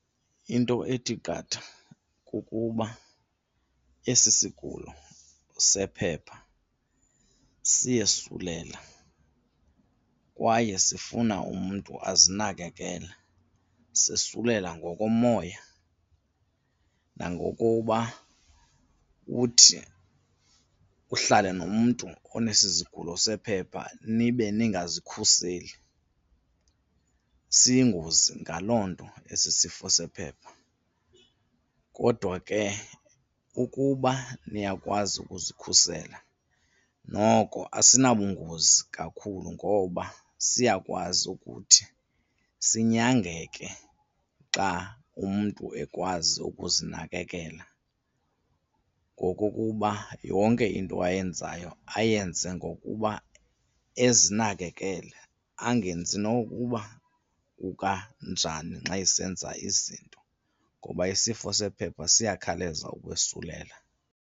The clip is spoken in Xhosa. Into ethi qatha kukuba esi sigulo sephepha siyesulela kwaye sifuna umntu azinakekele, sesulela ngokomoya nangokuba uthi uhlale nomntu onesi sigulo sephepha nibe ningazikhuseli, siyingozi ngaloo nto esi isifo sephepha. Kodwa ke ukuba niyakwazi ukuzikhusela noko asinabungozi kakhulu ngoba siyakwazi ukuthi sinyangeke xa umntu ekwazi ukuzinakekela. Ngokokuba yonke into ayenzayo ayenze ngokuba ezinakekele angenzi nokuba kukanjani nxa esenza izinto ngoba isifo sephepha siyakhawuleza ukwesulela.